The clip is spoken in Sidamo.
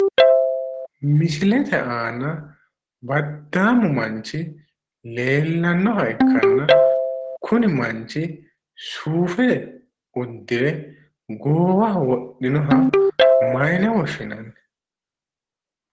Misiilete aana baddaamu manchi leellanoha ikkanna kuni manchi suufe uudire goowaho wodhinoha maayine woshshinanni?